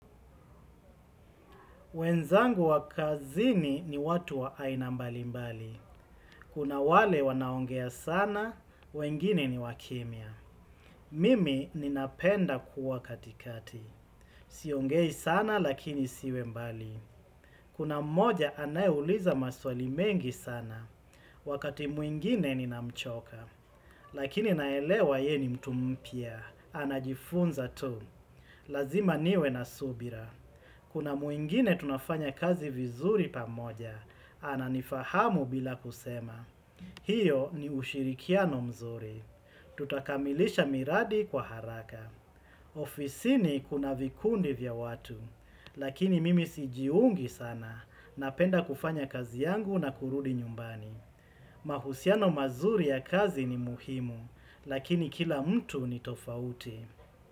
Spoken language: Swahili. Wenzangu wakazini ni watu wa ainambali mbali. Kuna wale wanaongea sana, wengine ni wakimia. Mimi ninapenda kuwa katikati. Siongei sana lakini siwe mbali. Kuna mmoja anayeuliza maswali mengi sana. Wakati mwingine ninamchoka. Lakini naelewa ye ni mtu mpya. Anajifunza tu. Lazima niwe na subira. Kuna mwingine tunafanya kazi vizuri pamoja, ananifahamu bila kusema. Hiyo ni ushirikiano mzuri. Tutakamilisha miradi kwa haraka. Ofisi ni kuna vikundi vya watu, lakini mimi sijiungi sana, napenda kufanya kazi yangu na kurudi nyumbani. Mahusiano mazuri ya kazi ni muhimu, lakini kila mtu ni tofauti.